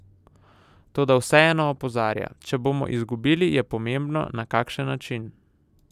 Toda vseeno opozarja: "Če bomo izgubili, je pomembno, na kakšen način.